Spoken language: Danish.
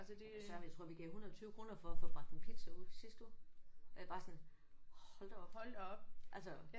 Ja for søren jeg tror vi gav 120 kroner for at få bragt en pizza ud i sidste uge og jeg er bare sådan hold da op altså